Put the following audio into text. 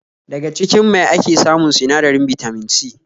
Daga cikin mai ake samun sinadarin Bitamin C